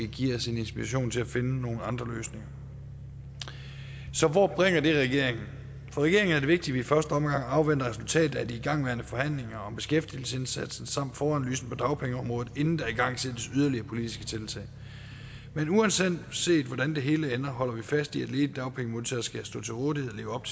give os en inspiration til at finde nogle andre løsninger så hvor bringer det regeringen for regeringen er det vigtigt i første omgang afventer et resultat af de igangværende forhandlinger om beskæftigelsesindsatsen samt foranalysen på dagpengeområdet inden der igangsættes yderligere politiske tiltag men uanset hvordan det hele ender holder vi fast i at ledige dagpengemodtagere skal stå til rådighed og leve op